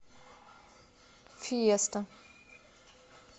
фиеста